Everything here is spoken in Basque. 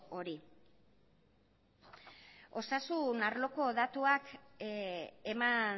hori osasun arloko datuak eman